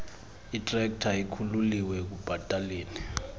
itrekta ikhululiwe ekubhataleni